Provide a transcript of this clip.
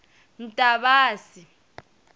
ntavasi